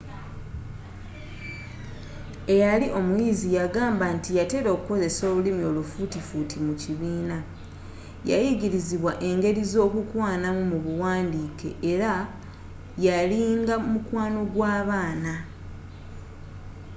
eyali omuyizi yagamba nti yatera okukozesa olulimi olufuutifuuti mu kibiina yayigirizibwa engeri z'okukwana mu buwandiike era yalinga mukwano gw'abaana